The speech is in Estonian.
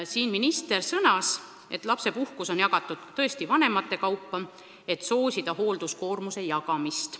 Minister sõnas, et lapsepuhkus on jagatud tõesti vanemate kaupa, et soosida hoolduskoormuse jagamist.